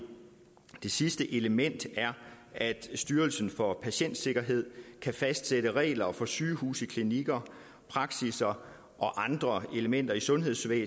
sidste element er at styrelsen for patientsikkerhed kan fastsætte regler for sygehuse klinikker praksisser og andre elementer i sundhedsvæsnet